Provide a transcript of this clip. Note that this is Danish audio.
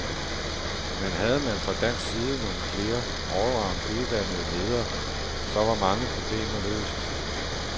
Men havde man fra dansk side nogle flere allround uddannede ledere, så var mange problemer løst.